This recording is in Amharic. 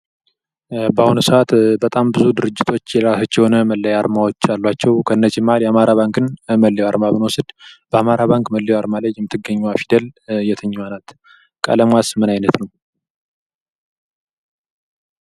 በአሁኑ ሰዓት በጣም ብዙ ድርጅቶች የራሳቸው የሆነ መለያ አርማዎች አላቸው። ከነዚህ መሀል የአማራ ባንክን መለያ አርማ ብንወስድ በአማራ ባንክ መለያው አርማ ላይ የምትገኘው ፊደል የትኛዋ ናት? ቀለሟስ ምን አይነት ነው?